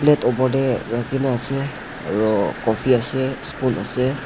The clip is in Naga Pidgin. plate opor tae rakhi na ase aro coffee ase spoon ase.